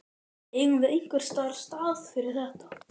Eigum við einhvers staðar stað fyrir þetta?